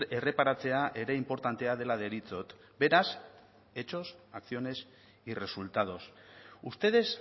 erreparatzea ere inportantea dela deritzot beraz hechos acciones y resultados ustedes